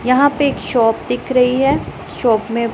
यहां पे एक शॉप दिख रही है शॉप में--